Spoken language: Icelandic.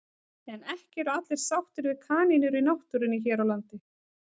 En ekki eru allir sáttir við kanínur í náttúrunni hér á landi.